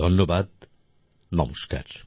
ধন্যবাদ নমস্কার